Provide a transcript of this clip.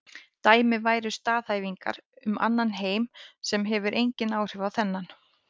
Dæmi væru staðhæfingar um annan heim sem hefur engin áhrif á þennan.